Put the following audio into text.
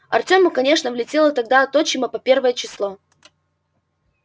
артему конечно влетело тогда от отчима по первое число